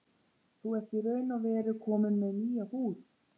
Þú ert í raun og veru kominn með nýja húð.